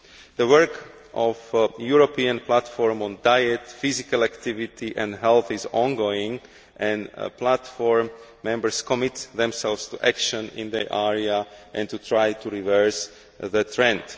The work of the European Platform on diet, physical activity and health is ongoing, and Platform members commit themselves to actions in their area to try to reverse the trend.